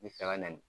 N bɛ fɛ ka na